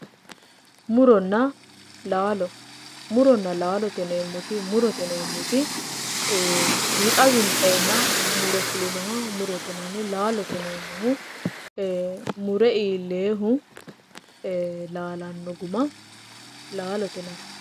Muronna laalo, muronna laalo yineemmoti, murote yineemmoti ee wixa winxenna mure fulinoha murote yineemmo, laalote yineemmohu mure iillenna laalano guma laalote yinanni.